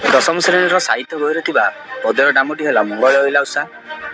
ଦଶମ ଶ୍ରେଣୀ ର ସାହିତ୍ୟ ବହିରେ ଥିବା ପଦ୍ୟର ନାମଟି ହେଲା ମଙ୍ଗଳେ ଅଇଲା ଉଷା।